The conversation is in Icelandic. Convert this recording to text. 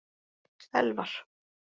Elfar